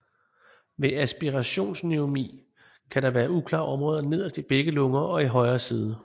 Ved aspirationspneumoni kan der være uklare områder nederst i begge lunger og i højre side